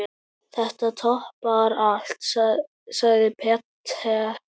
Þetta toppar allt, sagði Peter.